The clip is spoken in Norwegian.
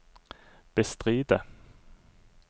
bestride